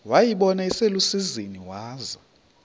wayibona iselusizini waza